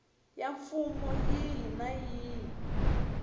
ya mfumo yihi na yihi